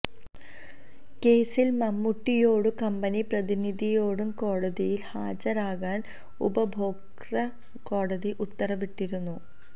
കേസിൽ മമ്മൂട്ടിയോടും കമ്പനി പ്രതിനിധിയോടും കോടതിയിൽ ഹാജരാകാൻ ഉപഭോക്തൃ കോടതി ഉത്തരവിട്ടിരുന്നു